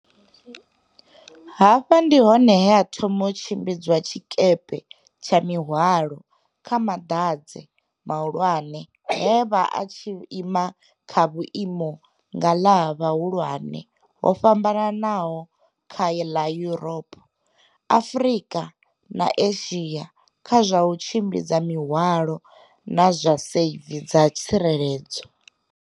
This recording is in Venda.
Hafha ndi hone he a thoma u tshimbidza tshikepe tsha mihwalo kha maḓanzhe mahulwane he a vha a tshi ima kha vhuima ngalavha vhuhulwane ho fhambanaho kha ḽa Yuropa, Afrika na Asia kha zwa u tshimbidza mihwalo na zwa seivi dza tsireledzo.